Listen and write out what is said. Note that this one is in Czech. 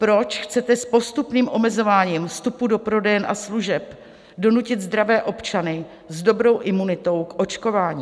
Proč chcete s postupným omezováním vstupu do prodejen a služeb donutit zdravé občany s dobrou imunitou k očkování?